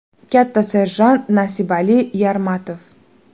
Katta serjant Nasibali Yarmatov.